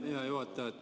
Hea juhataja!